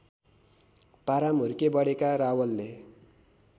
पाराम हुर्केबढेका रावलले